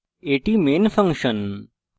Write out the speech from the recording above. এটি main function